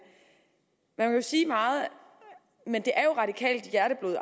man kan sige meget men det er jo radikalt hjerteblod at